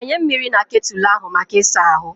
Gbanye mmiri na ketụlụ ahụ maka ịsa ahụ.